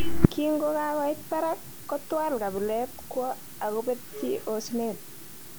kinkokakoit barak kotwal kabilet kwo okobetyi osnet